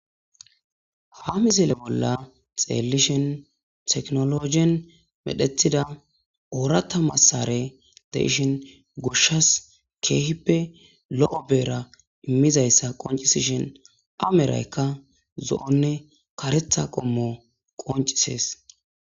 Ha mizele bolla xeellishen teknologien medhethida oorata massare de ishin goshshas keehippe lo'o beera immizayssa qoncisishin ameraykka zo'onne karetha qommo qonc'isees.